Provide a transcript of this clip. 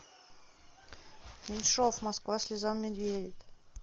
меньшов москва слезам не верит